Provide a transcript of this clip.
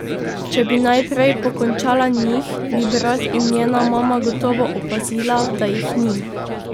Če bi najprej pokončala njih, bi brat in njena mama gotovo opazila, da jih ni.